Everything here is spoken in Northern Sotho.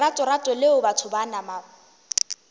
leratorato leo batho ba nama